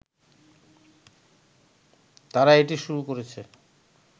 তারা এটি শুরু করেছে